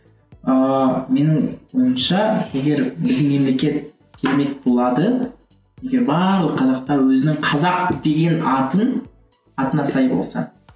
ыыы менің ойымша егер біздің мемлекет керемет болады егер нағыз қазақтар өзінің қазақ деген атын атына сай болса